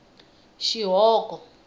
xihoko